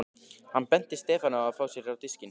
Hann benti Stefáni á að fá sér á diskinn.